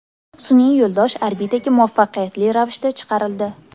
Sun’iy yo‘ldosh orbitaga muvaffaqiyatli ravishda chiqarildi.